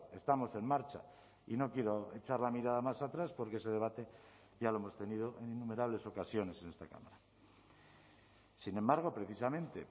estamos en marcha y no quiero echar la mirada más atrás porque ese debate ya lo hemos tenido en innumerables ocasiones en esta cámara sin embargo precisamente